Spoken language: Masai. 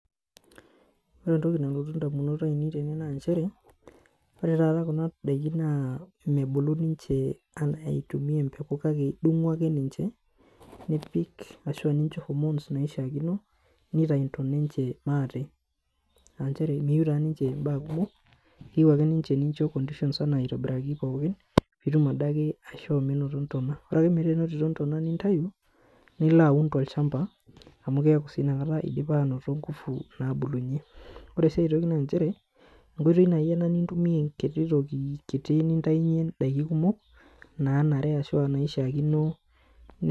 Ore entoki nalotu ndamunot aainei tene naa nchere, ore taata kuna daiki naa mebulu ninche anaa eitumiya empeku kake idung'u ake ninche nipik ashuu nincho hormones naaishaakino nitayu ntona enche maate aanchere meyieu taa ninche mbaa kumok keyieu ake ninche nincho conditions anaa aitobiraki pookin pitum adake aishoo menoto ntona. ore ake metaa enotito ntona nintayu niloaun to lchamba amuu keeku sii inakata idipa aanoto nkufu naabulunye. ore sii aitoki naanchere, enkoitoi naaji ena nintumiya enkiti toki kiti nintayunye ndaiki kumok naanare ashuaa naaishaakino.